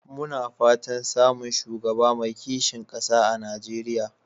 Muna fatan samun shugaba mai kishin ƙasa a Najeriya.